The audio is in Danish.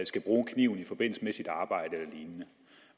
skal bruges kniv i forbindelse med arbejdet